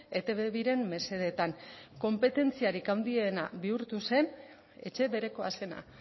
etb biren mesedetan konpetentziarik handiena bihurtu zen etxe berekoa zena